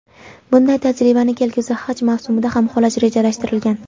Bunday tajribani kelgusi haj mavsumida ham qo‘llash rejalashtirilgan.